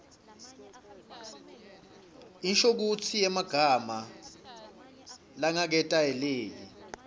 inshokutsi yemagama langaketayeleki